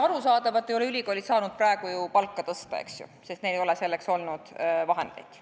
Arusaadavalt ei ole ülikoolid saanud praegu ju palka tõsta, eks ju, sest neil ei ole selleks olnud vahendeid.